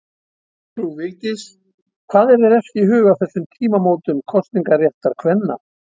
Frú Vigdís, hvað er þér efst í huga á þessum tímamótum kosningaréttar kvenna?